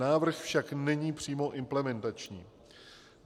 Návrh však není přímo implementační.